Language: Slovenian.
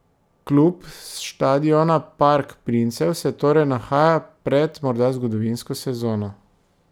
Klub s štadiona Park princev se torej nahaja pred morda zgodovinsko sezono.